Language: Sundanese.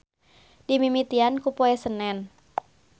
Dimimitian ku Poe Senen.